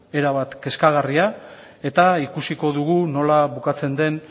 erabat kezkagarria eta ikusiko dugu nola bukatzen den